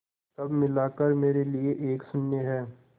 सब मिलाकर मेरे लिए एक शून्य है